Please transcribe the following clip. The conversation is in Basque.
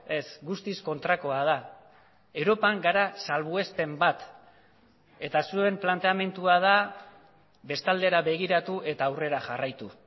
ez guztiz kontrakoa da europan gara salbuespen bat eta zuen planteamendua da beste aldera begiratu eta aurrera jarraitu